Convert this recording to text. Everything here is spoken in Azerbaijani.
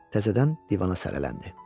Təzədən divana sələləndi.